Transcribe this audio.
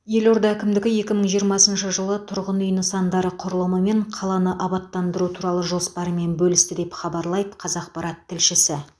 елорда әкімдігі екі мың жиырмасыншы жылы тұрғын үй нысандары құрылымы мен қаланы абаттандыру туралы жоспарларымен бөлісті деп хабарлайды қазақпарат тілшісі